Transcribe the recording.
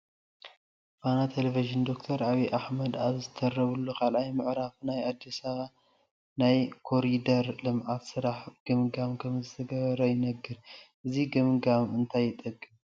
ፋና ቴለዥን ዶ/ር ዓብዪ ኣሕመድ ኣብ ዝተረብሉ 2ይ ምዕራይ ናይ ኣዲስ ኣባባ ናይ ኮሪደር ልምዓት ስራሕ ግምገማ ከምዝተገብረ ይነግር፡፡ እዚ ግብገማ እንታይ ይጠቅም?